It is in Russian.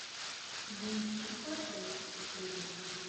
внести платеж другу